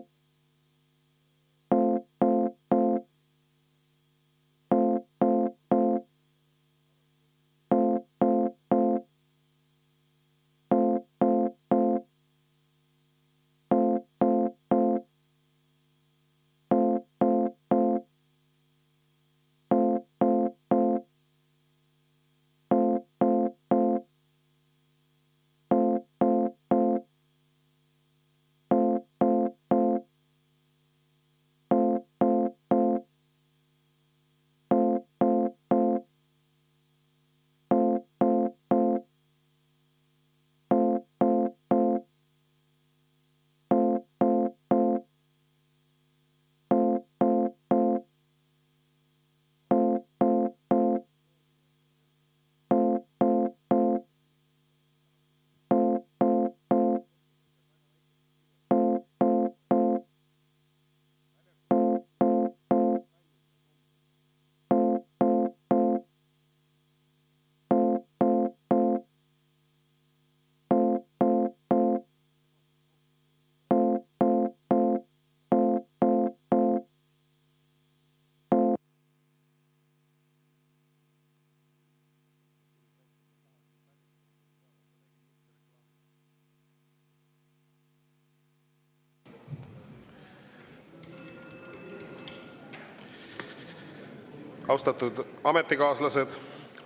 Austatud ametikaaslased!